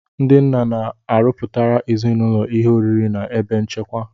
Ndị nna na-arọpụtara ezinụlọ ihe oriri na ebe nchekwa